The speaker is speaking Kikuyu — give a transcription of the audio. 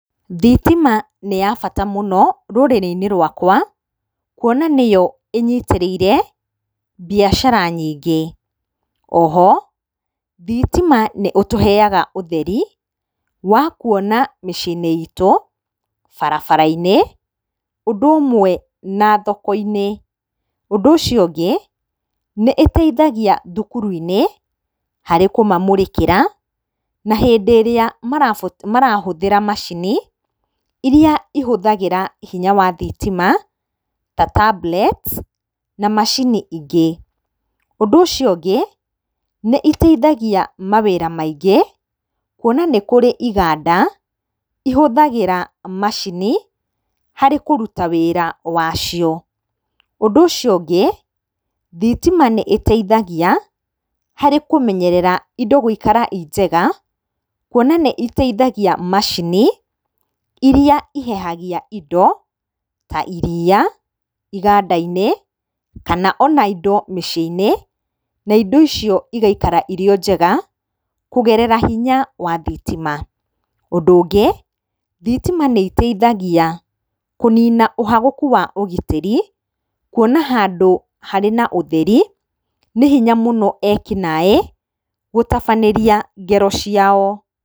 Thitima nĩ ya bata mũno rũrĩri-inĩ rwakwa, kuona nĩyo ĩnyitĩrĩire biacara nyingĩ. Oho, thitima nĩ ũtũheaga ũtheri wa kuona mĩciĩ-inĩ itũ, barabara-nĩ, ũndũ ũmwe na thoko-inĩ. Ũndũ ũcio ũngĩ nĩ ĩteithagia thukuru-inĩ, harĩ kũmamũrĩkĩera, na hĩndĩ ĩrĩa marahũthĩra macini iria ihũthagĩra hinya wa thitima, ta tablets na macini ingĩ. Ũndũ ũcio ũngĩ, nĩ iteithagia mawĩra maingĩ, kuona nĩ kũrĩ iganda ihũthagĩra macini harĩ kũruta wĩra wacio. Ũndũ ũcio ũngĩ, thitima nĩ ĩteithagia harĩ kũmenyerera indo gũikara i njega, kuona nĩ iteithagia macini iria ihehagia indo ta iriia iganda-inĩ, kana ona indo mĩciĩ-inĩ, na indo icio igaikara irĩ o njega kũgerera hinya wa thitima. Ũndũ ũngĩ, thitima nĩ iteithagia kũnina ũhagũka wa ũgitĩri kuona handũ harĩ na ũtheri nĩ hinya mũno ekinaĩ gũtabania ngero ciao.